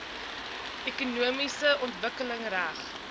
ekonomiese ontwikkeling reg